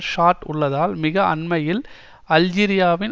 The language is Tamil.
சாட் உள்ளதால் மிக அண்மையில் அல்ஜீரியாவின்